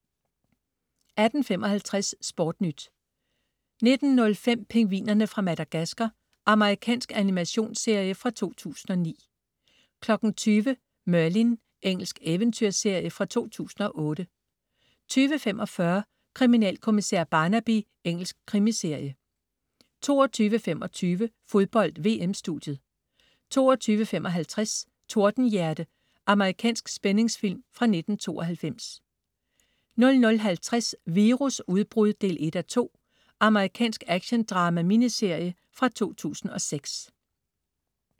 18.55 SportNyt 19.05 Pingvinerne fra Madagascar. Amerikansk animationsserie fra 2009 20.00 Merlin. Engelsk eventyrserie fra 2008 20.45 Kriminalkommissær Barnaby. Engelsk krimiserie 22.25 Fodbold: VM-studiet 22.55 Tordenhjerte. Amerikansk spændingsfilm fra 1992 00.50 Virusudbrud 1:2. Amerikansk actiondrama-miniserie fra 2006